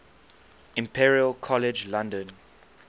imperial college london